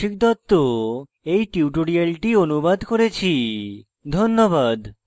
আমি কৌশিক দত্ত এই টিউটোরিয়ালটি অনুবাদ করেছি ধন্যবাদ